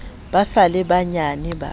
ba sa le banyenyane ba